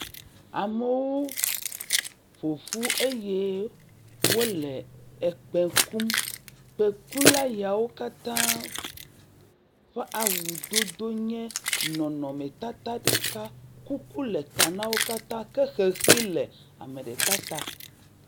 Amewo ƒo ƒu eye wole ekpe kum, kpekula yawo katã ƒe awudodo nye nɔnɔmetata ɖeka, kuku le ta na wo katã ke xexi le ame ɖeka ta.